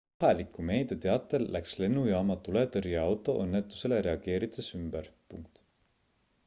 kohaliku meedia teatel läks lennujaama tuletõrjeauto õnnetusele reageerides ümber